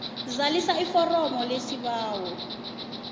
zalisa iforomo lesibawo